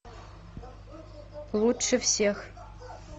лучше всех